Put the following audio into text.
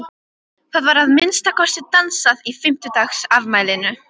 Það var að minnsta kosti dansað í fimmtugsafmælinu.